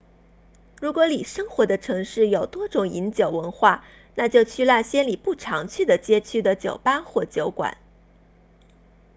如果你生活的城市有多种饮酒文化那就去那些你不常去的街区的酒吧或酒馆